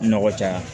Nɔgɔ caya